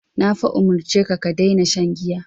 Na fa umurce ka "ka daina shan giya".